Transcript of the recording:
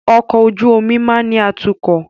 Ọkọ̀ ojú omi máa ni atukọ̀